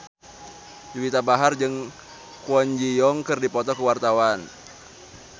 Juwita Bahar jeung Kwon Ji Yong keur dipoto ku wartawan